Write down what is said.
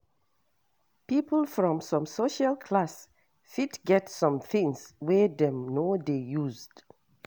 People from some social class fit get some things wey dem no dey used